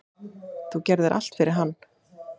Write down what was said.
Þú gerðir allt fyrir hann.